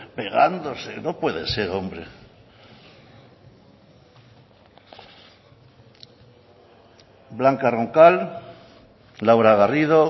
pegándose no puede ser hombre blanca roncal laura garrido